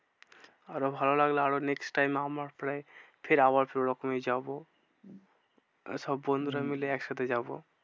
আরও ভালো লাগলে আরও next time প্রায় ফের ওরকমই যাবো। সব বন্ধুরা মিলে একসাথে যাবো।